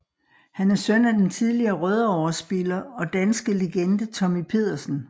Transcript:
Han er søn af den tidligere Rødovre spiller og danske legende Tommy Pedersen